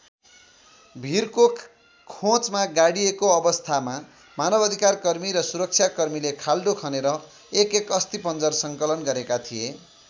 भीरको खोँचमा गाडिएको अवस्थामा मानव अधिकारकर्मी र सुरक्षाकर्मीले खाल्डो खनेर एकएक अस्थिपञ्जर सङ्कलन गरेका थिए।